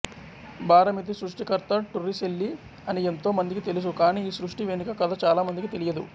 భారమితి సృష్టి కర్త టొర్రిసెల్లి అని ఎంతో మందికి తెలుసు కాని ఈ సృష్టి వెనుక కథ చాలామందికి తెలియదు